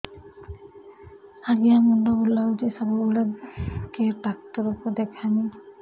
ଆଜ୍ଞା ମୁଣ୍ଡ ବୁଲାଉଛି ସବୁବେଳେ କେ ଡାକ୍ତର କୁ ଦେଖାମି